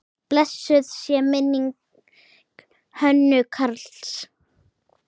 Blessuð sé minning Hönnu Karls.